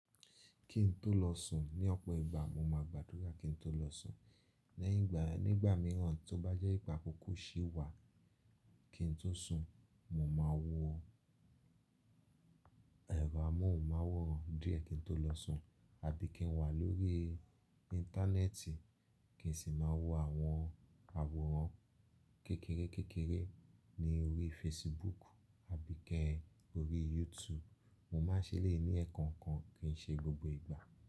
Kí n tó lọ sùn ní ọ̀pọ̀ ìgbà mo máa gbàdúrà kí n tó lọ sùn. Ní ìgbà mìíràn tó bá jẹ́ wípé àkọkọ ṣí wá kí n tó sùn, mo máa wo ẹ̀rọ amóhùnmáwòrán díẹ̀ kí n tó lọ sùn àbí kí n wà lórí Íńtánẹ́ẹ̀tì. Kì n sì máa wo àwọn àwòrán kékeré kekere ní orí Facebook àbí kẹ́ orí YouTube. Mo má a ṣeleyi ni ẹ̀ẹ̀kan kan kì í ṣe gbogbo ìgbà.